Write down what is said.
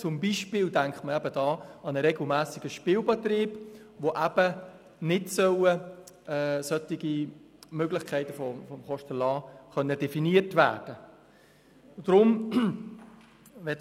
Wir denken da an den regelmässigen Spielbetrieb, wo solche Möglichkeiten von Kostenerlassen nicht definiert werden sollen.